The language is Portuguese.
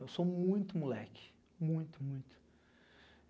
Eu sou muito moleque, muito, muito.